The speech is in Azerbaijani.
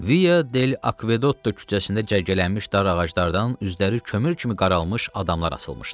Via Del Akvedotto küçəsində cərgələnmiş dar ağaclardan üzləri kömür kimi qaralmış adamlar asılmışdı.